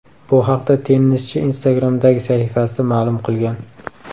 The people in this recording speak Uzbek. Bu haqda tennischi Instagram’dagi sahifasida ma’lum qilgan .